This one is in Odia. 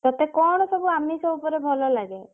ତତେ କଣ ସବୁ ଆମିଷ ଉପରେ ଭଲ ଲାଗେ?